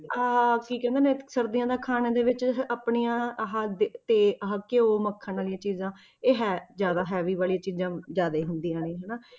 ਆਹ ਕੀ ਕਹਿੰਦੇ ਨੇ ਇੱਕ ਸਰਦੀਆਂ ਦੇ ਖਾਣੇ ਦੇ ਵਿੱਚ ਆਪਣੀਆਂ ਆਹ ਦੇ~ ਤੇ ਆਹ ਘਿਓ ਮੱਖਣ ਵਾਲੀਆਂ ਚੀਜ਼ਾਂ, ਇਹ ਹੈ ਜ਼ਿਆਦਾ heavy ਵਾਲੀਆਂ ਚੀਜ਼ਾਂ ਜ਼ਿਆਦਾ ਹੁੰਦੀਆਂ ਨੇ ਹਨਾ